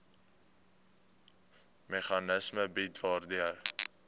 meganisme bied waardeur